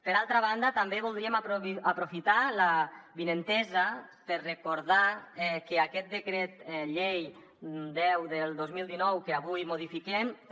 per altra banda també voldríem aprofitar l’avinentesa per recordar que aquest decret llei deu del dos mil dinou que avui modifiquem també